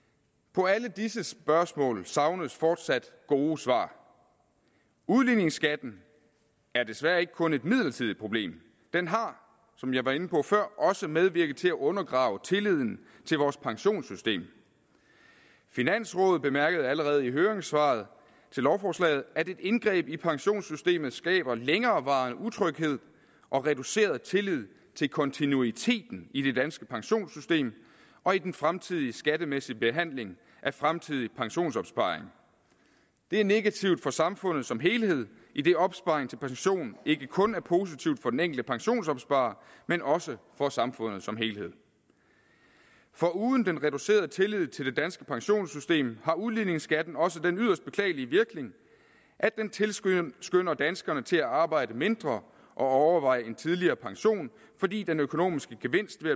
på alle disse spørgsmål savnes fortsat gode svar udligningsskatten er desværre ikke kun et midlertidigt problem den har som jeg var inde på før også medvirket til at undergrave tilliden til vores pensionssystem finansrådet bemærkede allerede i høringssvaret til lovforslaget at et indgreb i pensionssystemet skaber længerevarende utryghed og reduceret tillid til kontinuiteten i det danske pensionssystem og i den fremtidige skattemæssige behandling af fremtidig pensionsopsparing det er negativt for samfundet som helhed idet opsparing til pension ikke kun er positivt for den enkelte pensionsopsparer men også for samfundet som helhed foruden den reducerede tillid til det danske pensionssystem har udligningsskatten også den yderst beklagelige virkning at den tilskynder danskerne til at arbejde mindre og overveje en tidligere pension fordi den økonomiske gevinst ved